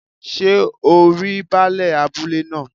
Sé o rí baálẹ̀ abúlé náà